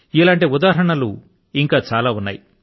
ఇటువంటి ఉదాహరణ లు ఇంకా చాలా ఉన్నాయి